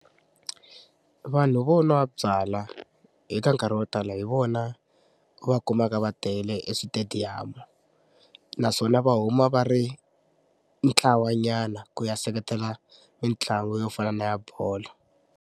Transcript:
Vanhu vo n'wa byalwa eka nkarhi wo tala hi vona va kumaka va tele eswitediyamu naswona va huma va ri ntlawanyana ku ya seketela mitlangu yo fana na ya bolo.